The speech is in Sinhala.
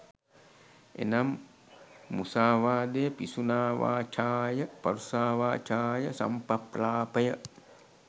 එනම්, මුසාවාදය, පිසුනාවාචාය, පරුෂාවාචාය, සම්ඵප්‍රලාපය